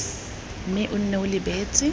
mme o nne o lebeletse